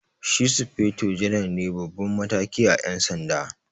Shi sufeto janar ne Baban mataki à Yan sanda.